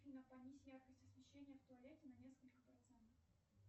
афина понизь яркость освещения в туалете на несколько процентов